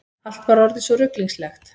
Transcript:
Allt var orðið svo ruglingslegt.